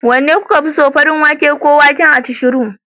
Wanne kuka fi so? farin wake ko waken acishiru?